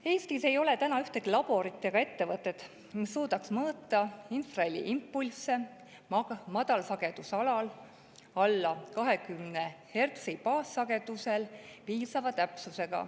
Eestis ei ole ühtegi laborit ega ettevõtet, mis suudaks piisava täpsusega mõõta infraheliimpulsse madalsagedusalal alla 20‑hertsisel baassagedusel.